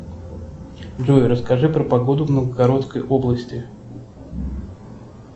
джой расскажи про погоду в новгородской области